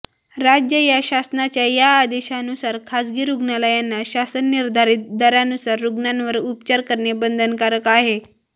राज्य या शासनाच्या या आदेशानुसार खासगी रूग्णालयांना शासन निर्धारित दरानुसार रुग्णांवर उपचार करणे बंधनकारक आहे